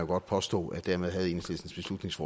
godt påstå at dermed havde enhedslistens